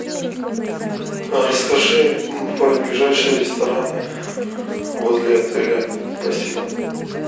расскажи про ближайшие рестораны возле отеля спасибо